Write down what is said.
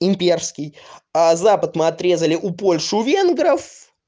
имперский а запад мы отрезали у польши у венгров